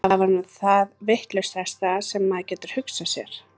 Það er nú það vitlausasta sem maður gæti hugsað sér.